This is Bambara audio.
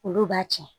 Olu b'a tiɲɛ